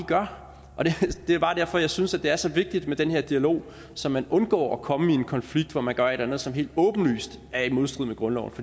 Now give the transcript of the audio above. gør det er bare derfor jeg synes at det er så vigtigt med den her dialog så man undgår at komme i en konflikt hvor man gør et eller andet som helt åbenlyst er i modstrid med grundloven